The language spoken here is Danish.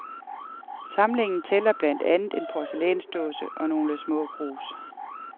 Samlingen tæller blandt andet en porcelænsdåse og nogle små krus.